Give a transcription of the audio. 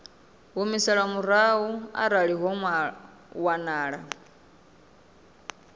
humiselwa murahu arali ho wanala